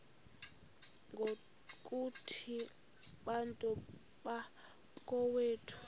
ngokuthi bantu bakowethu